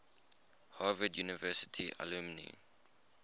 harvard university alumni